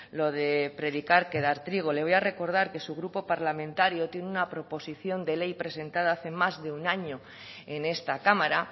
lo de predicar que dar trigo le voy a recordar que su grupo parlamentario tiene una proposición de ley presentada hace más de un año en esta cámara